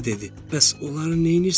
Bəs onları neynirsən sən?